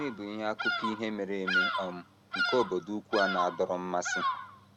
Gịnị bụ akụkọ ihe mere eme um nke obodo ukwu a na - adọrọ mmasị?